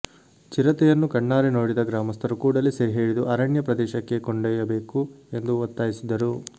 ಚಿರತೆಯನ್ನು ಕಣ್ಣಾರೆ ನೋಡಿದ ಗ್ರಾಮಸ್ಥರು ಕೂಡಲೇ ಸೆರೆಹಿಡಿದು ಅರಣ್ಯ ಪ್ರದೇಶಕ್ಕೆ ಕೊಂಡೊಯ್ಯಬೇಕು ಎಂದು ಒತ್ತಾಯಿಸಿದರು